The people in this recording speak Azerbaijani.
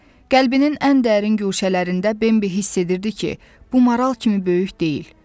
Qəlbinin ən dərin guşələrində Bembi hiss edirdi ki, bu maral kimi böyük deyil.